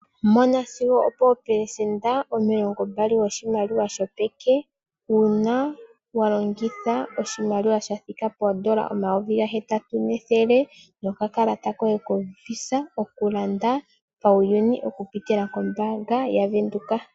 Mona sigo opo pelesenda omilongo mbali yoshimaliwa shopeke uuna walongitha oshimaliwa shathika po N$8100 nokakalata koye ko koombaanga okulanda pauyuni okupitila kombaanga yaVenduka.